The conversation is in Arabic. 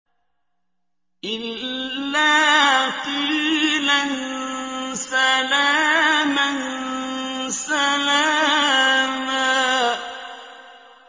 إِلَّا قِيلًا سَلَامًا سَلَامًا